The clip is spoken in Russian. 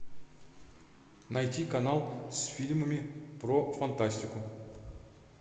найти канал с фильмами про фантастику